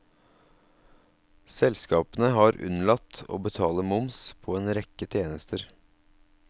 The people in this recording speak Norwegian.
Selskapene har unnlatt å betale moms på en rekke tjenester.